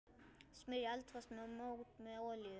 Smyrjið eldfast mót með olíu.